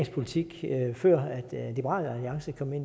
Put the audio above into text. politik før liberal alliance kom i